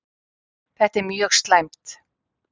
Þetta er mjög slæmt.